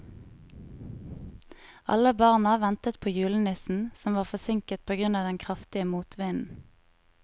Alle barna ventet på julenissen, som var forsinket på grunn av den kraftige motvinden.